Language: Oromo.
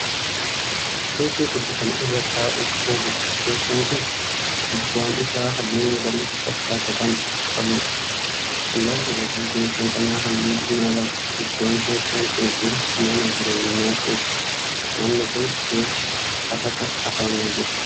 Teessoo tokko Kan irra taa'uuf ooludha. teessoon Kuni gubbaan Isaa halluu magariisa fakkaatu Kan qabuudha. garri gadii teessoo kanaa halluu diimaa qaba. iddoon teessoon Kuni jiru mana jireenyaa keessa. manni Kuni keessi afata afame Jira.